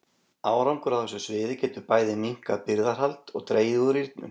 Árangur á þessu sviði getur bæði minnkað birgðahald og dregið úr rýrnun.